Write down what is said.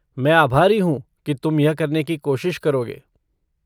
मैं आभारी हूँ कि तुम यह करने की कोशिश करोगे।